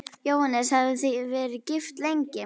Jóhannes: Hafið þið verið gift lengi?